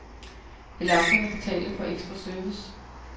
Vil amterne betale for ekstra service?